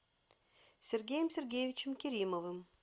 сергеем сергеевичем керимовым